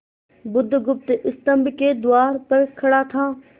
बुधगुप्त स्तंभ के द्वार पर खड़ा था